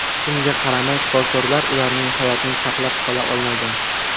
Shunga qaramay, shifokorlar ularning hayotini saqlab qola olmagan.